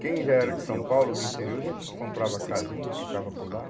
Quem já era de São Paulo, do interior, já comprava casinha, tocava por lá.